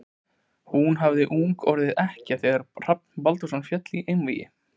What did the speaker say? Hún hafði ung orðið ekkja þegar Hrafn Brandsson féll í einvígi.